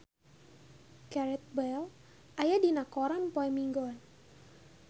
Gareth Bale aya dina koran poe Minggon